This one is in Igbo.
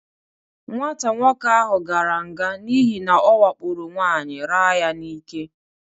Nwata nwoke ahụ gara nga n'ihi na ọwakporo nwaanyị raa ya n'ike.